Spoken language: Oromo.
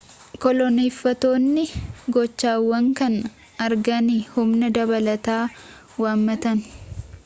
koloneeffattoonni gochaawwan kana arganii humna dabalataa waammatan